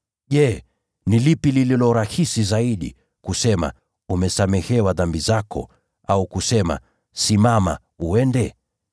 Je, ni lipi lililo rahisi zaidi: kusema, ‘Umesamehewa dhambi zako,’ au kusema, ‘Inuka, uende’?